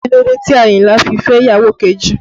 Kí ló dé tí Àyìnlá fi fẹ́ ìyàwó kejì?